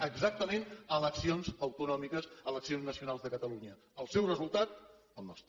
exactament eleccions autonòmiques eleccions nacionals de catalunya el seu resultat el nostre